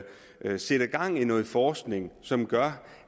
man sætter gang i noget forskning som gør